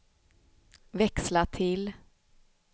växla till